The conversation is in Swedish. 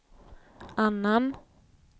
annan